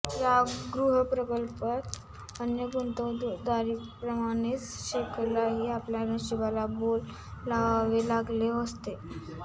या गृहप्रकल्पात अन्य गुंतवणुकदारांप्रमाणेच शेखरलाही आपल्या नशिबाला बोल लावावे लागले असते